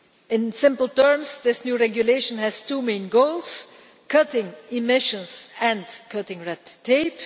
In simple terms, this new regulation has two main goals cutting emissions and cutting red tape.